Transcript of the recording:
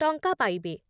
ଟଙ୍କା ପାଇବେ ।